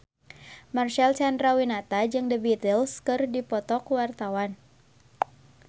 Marcel Chandrawinata jeung The Beatles keur dipoto ku wartawan